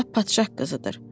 Lap padşah qızıdır.